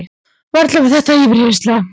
Varla var þetta yfirheyrsla?